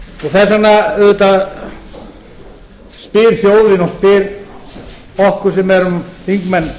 þess vegna auðvitað spyr þjóðin og spyr okkur sem erum þingmenn